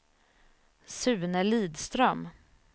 Sune Lidström